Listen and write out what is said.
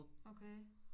Okay